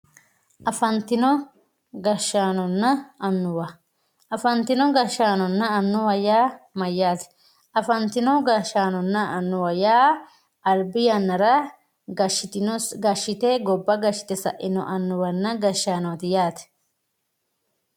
afantino gashshaaanonna annuwa afantino gashshaanonna annuwate yaa mayyaate afantino gashshaanonna annuwa yaa albi yannara gobba gashshite sa'inoreeti yaate